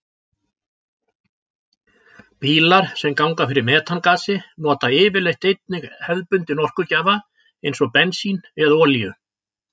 Bílar sem ganga fyrir metangasi nota yfirleitt einnig hefðbundinn orkugjafa eins og bensín eða olíu.